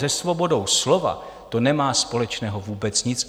Se svobodou slova to nemá společného vůbec nic.